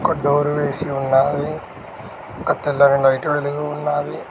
Door వేసి ఉన్నాది ఒక తెల్లని లైట్ వెలిగి ఉన్నాది.